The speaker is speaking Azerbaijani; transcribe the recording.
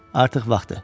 Artıq vaxtıdır.